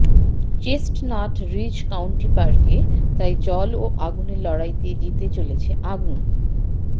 chestnut Ridge County পার্কে তাই জল ও আগুনের লড়াইতে জিতে চলেছে আগুন